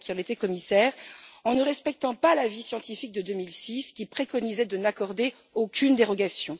Vella qui en était commissaire en ne respectant pas l'avis scientifique de 2006, qui préconisait de n'accorder aucune dérogation.